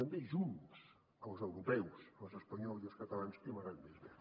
i també junts els europeus els espanyols i els catalans hem anat més bé